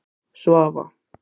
Svava